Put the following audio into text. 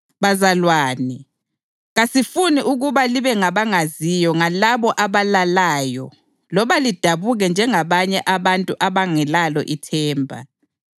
Bazalwane, kasifuni ukuba libe ngabangaziyo ngalabo abalalayo loba lidabuke njengabanye abantu abangelalo ithemba.